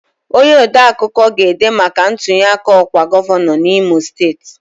Onye odeakụkọ ga-ede maka ntunyeaka ọkwa gọvanọ n'Imo Steeti